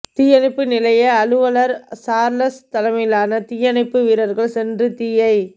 தீயணைப்பு நிலைய அலுவலா் சாா்லஸ் தலைமையிலான தீயணைப்பு வீரா்கள் சென்று தீயை